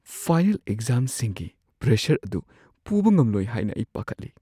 Final ꯑꯦꯛꯖꯥꯝꯁꯤꯡꯒꯤ pressure ꯑꯗꯨ ꯄꯨꯕ ꯉꯝꯂꯣꯏ ꯍꯥꯏꯅ ꯑꯩ ꯄꯥꯈꯠꯂꯤ꯫